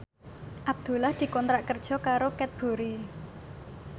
Abdullah dikontrak kerja karo Cadbury